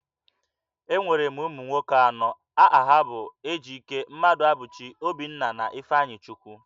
Enwere m ụmụ nwoke anọ, aha ha bụ Ejike, Mmaduabuchi, Obinna, na Ifeanyichukwu